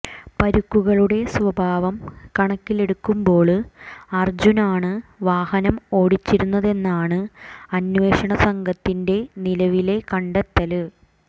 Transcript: പരുക്കുകളുടെ സ്വഭാവം കണക്കിലെടുക്കുമ്പോള് അര്ജുനാണ് വാഹനം ഓടിച്ചിരുന്നതെന്നാണ് അന്വേഷണ സംഘത്തിന്റെ നിലവിലെ കണ്ടെത്തല്